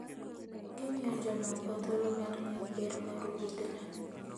Gimiyo jomoko thuolo mar ng'eyo ber mar wuodhno.